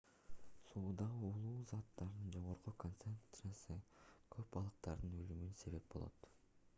суудагы уулуу заттардын жогорку концентрациясы көп балыктардын өлүмүнө себеп болот